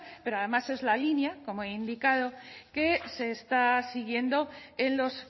pero además es la línea como he indicado que se está siguiendo en los